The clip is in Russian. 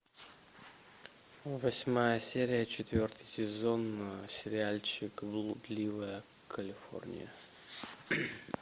восьмая серия четвертый сезон сериальчик блудливая калифорния